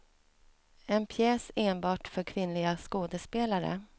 En pjäs enbart för kvinnliga skådespelare.